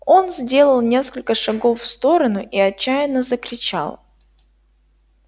он сделал несколько шагов в сторону и отчаянно закричал